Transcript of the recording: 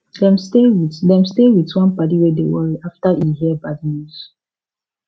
dem stay with dem stay with one padi wey dey worry after e hear bad news